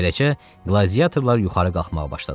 Beləcə, qladiatorlar yuxarı qalxmağa başladılar.